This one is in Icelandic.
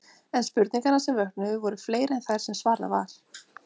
En spurningarnar sem vöknuðu voru fleiri en þær sem svarað var.